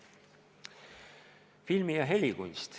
Filmi- ja helikunst.